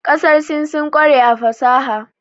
Ƙasar Sin sun ƙware a fasaha.